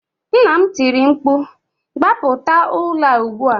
Nna m tiri mkpu, gbapụta ụlọ a ugbu a!